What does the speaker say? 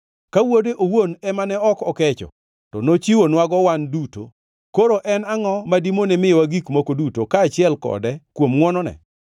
Ka Wuode owuon ema ne ok okecho, to nochiwonwago wan duto, koro en angʼo ma dimone miyowa gik moko duto, kaachiel kode kuom ngʼwonone?